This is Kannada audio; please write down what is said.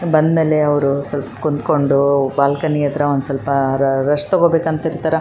ಬಂದ್ಮೇಲೆ ಅವ್ರ್ ಸ್ವಲ್ಪ ಕುಂಥ್ಕೊಂಡು ಬಾಲ್ಕನಿ ಹತ್ರ ಒಂದ್ ಸ್ವಲ್ಪ್ ರೆಸ್ಟ್ ತಗೋಬೇಕು ಅಂತ ಇರ್ತಾರ .